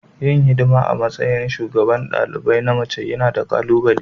Yin hidima a matsayin shugaban dalibai na mace yana da ƙalubale.